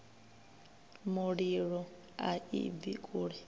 mulilo a i bvi kule